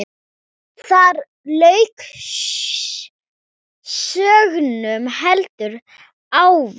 Þar lauk sögnum, heldur óvænt.